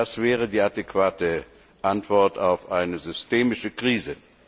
Das wäre die adäquate Antwort auf eine systemische Krise.